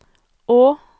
å